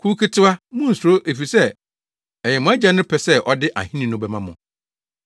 “Kuw ketewa, munnsuro efisɛ ɛyɛ mo Agya no pɛ sɛ ɔde ahenni no bɛma mo.